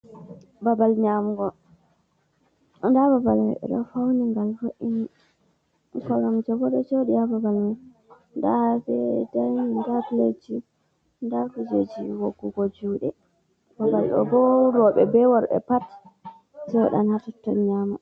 Babal nyamugo, nda babal may ɓe ɗo fauni ngal vo’ini. Koromje boɗo joɗi ha babal man, nda ɓe dayinin nda piletji nda kujeji woggugo juɗe. Babal ɗo bo roɓe be worɓe pat joɗan hataton nyama.